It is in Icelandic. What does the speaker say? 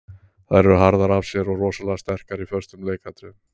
Þær eru harðar af sér og rosalega sterkar í föstum leikatriðum.